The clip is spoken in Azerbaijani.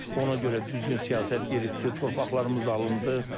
Ona görə düzgün siyasət yeritdi, torpaqlarımız alındı.